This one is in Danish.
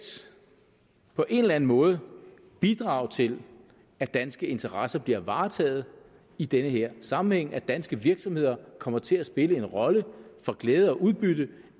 på en eller anden måde kunne bidrage til at danske interesser bliver varetaget i den her sammenhæng sådan at danske virksomheder kommer til at spille en rolle og får glæde og udbytte